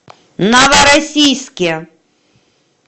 новороссийске